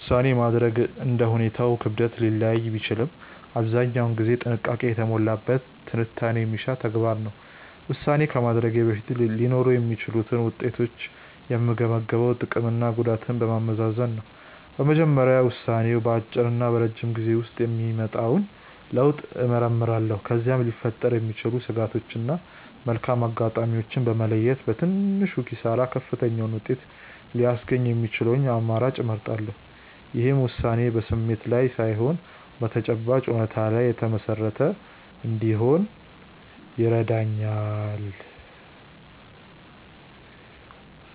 ውሳኔ ማድረግ እንደ ሁኔታው ክብደት ሊለያይ ቢችልም አብዛኛውን ጊዜ ጥንቃቄ የተሞላበት ትንታኔ የሚሻ ተግባር ነው። ውሳኔ ከማድረጌ በፊት ሊኖሩ የሚችሉትን ውጤቶች የምገመግመው ጥቅምና ጉዳቱን በማመዛዘን ነው። በመጀመሪያ ውሳኔው በአጭርና በረጅም ጊዜ ውስጥ የሚያመጣውን ለውጥ እመረምራለሁ። ከዚያም ሊፈጠሩ የሚችሉ ስጋቶችን እና መልካም አጋጣሚዎችን በመለየት፣ በትንሹ ኪሳራ ከፍተኛውን ውጤት ሊያስገኝ የሚችለውን አማራጭ እመርጣለሁ። ይህም ውሳኔዬ በስሜት ላይ ሳይሆን በተጨባጭ እውነታዎች ላይ የተመሰረተ እንዲሆን ይረዳኛል።